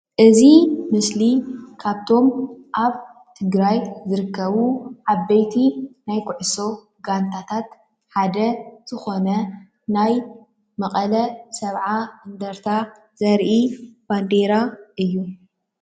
እዚ ምስሊ ካብቶም አብ ትግራይ ዝርከቡ ዓበይቲ ናይ ኩዕሶ ጋንታት ሓደ ዝኾነ ናይ መቀለ 70 እንደርታ ዘርኢ ባንዴራ እዩ፡፡